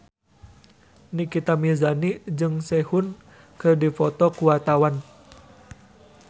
Nikita Mirzani jeung Sehun keur dipoto ku wartawan